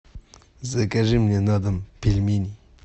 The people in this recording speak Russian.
закажи мне на дом пельменей